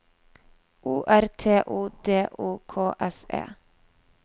O R T O D O K S E